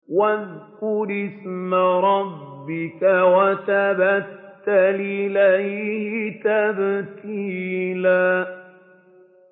وَاذْكُرِ اسْمَ رَبِّكَ وَتَبَتَّلْ إِلَيْهِ تَبْتِيلًا